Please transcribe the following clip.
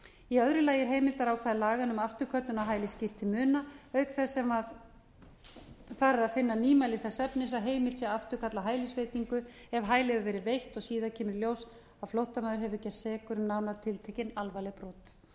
í öðru lagi er heimildarákvæði laganna um afturköllun á hæli skýrt til muna auk þess sem þar er að finna nýmæli þess efnis að heimilt sé að afturkalla hælisveitingu ef hæli hefur verið veitt og síðar kemur í ljós að flóttamaður hefur gerst sekur um nánar tiltekin alvarleg